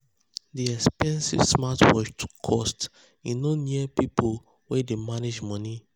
the expensive smartwatch too cost e no near people wey dey manage money.